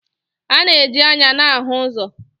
A na-eji anya na-ahụ ụzọ.